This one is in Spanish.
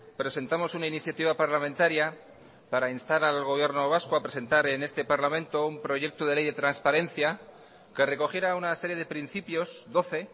presentamos una iniciativa parlamentaria para instar al gobierno vasco a presentar en este parlamento un proyecto de ley de transparencia que recogiera una serie de principios doce